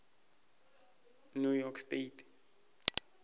new york state